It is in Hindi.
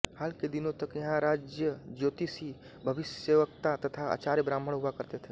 हाल के दिनों तक यहां राजज्योतिषी भविष्यवक्ता तथा आचार्य ब्राह्मण हुआ करते थे